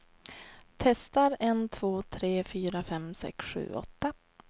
Testar en två tre fyra fem sex sju åtta.